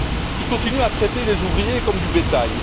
Elle continue à traiter les ouvriers comme du bétail.